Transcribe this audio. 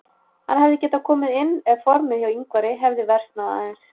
Hann hefði getað komið inn ef formið hjá Ingvari hefði versnað aðeins.